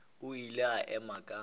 o ile a ema ka